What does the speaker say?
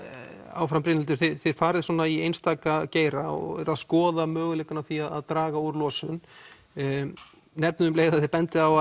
áfram Brynhildur þið farið svona í einstaka geira og eruð að skoða möguleikann á því að draga úr losun nefnið um leið og þið bendið á